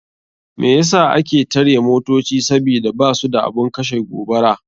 Me yasa ake tare motoci sabida basu da abun kashe gobara.